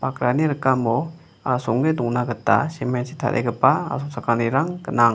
akrani rikamo asonge dongna gita simen chi tarigipa asongchakanirang gnang.